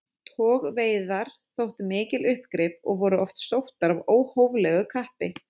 Togveiðar þóttu mikil uppgrip og voru oft sóttar af óhóflegu kappi.